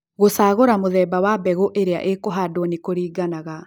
gũcagũra mũthemba wa mbegu ĩrĩa ĩkũhandũo nĩ kũriganaga